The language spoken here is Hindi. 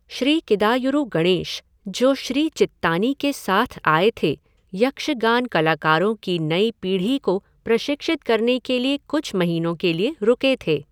श्री किदायुरु गणेश, जो श्री चित्तानी के साथ आए थे, यक्षगान कलाकारों की नई पीढ़ी को प्रशिक्षित करने के लिए कुछ महीनों के लिए रुके थे।